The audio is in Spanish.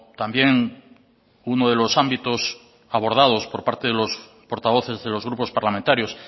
también uno de los ámbitos abordados por parte de los portavoces de los grupos parlamentarios